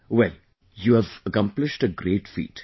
Well...you have accomplished a great feat